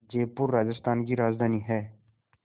जयपुर राजस्थान की राजधानी है